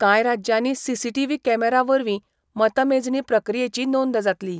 कांय राज्यानी CCTV camera वरवी मतमेजणी प्रक्रियेची नोंद जातली.